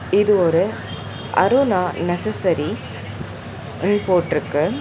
இது ஒரு அருணா நெசசரி ம் போட்ருக்கு.